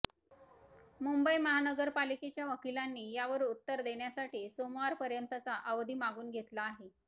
मुंबई महानगरपालिकेच्या वकिलांनी यावर उत्तर देण्यासाठी सोमवापर्यंतचा अवधी मागून घेतला आहे